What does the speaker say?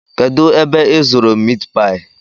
Kedụ ebe ị zụrụ mitpaị?